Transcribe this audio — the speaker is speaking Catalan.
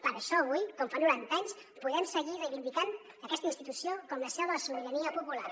per això avui com fa noranta anys podem seguir reivindicant aquesta institució com la seu de la sobirania popular